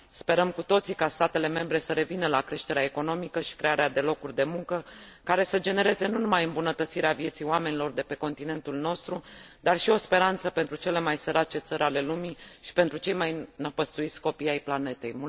Sperăm cu toții ca statele membre să revină la creșterea economică și crearea de locuri de muncă, care să genereze nu numai îmbunătățirea vieții oamenilor de pe continentul nostru, ci și o speranță pentru cele mai sărace țări ale lumii și pentru cei mai năpăstuiți copii ai planetei.